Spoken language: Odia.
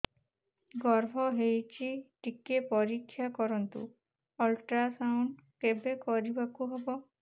ଗର୍ଭ ହେଇଚି ଟିକେ ପରିକ୍ଷା କରନ୍ତୁ ଅଲଟ୍ରାସାଉଣ୍ଡ କେବେ କରିବାକୁ ହବ